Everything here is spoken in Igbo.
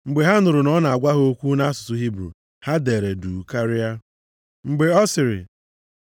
Mgbe ha nụrụ na ọ na-agwa ha okwu nʼasụsụ Hibru, ha deere duu karịa. Mgbe ọ sịrị,